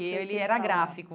Ele era gráfico.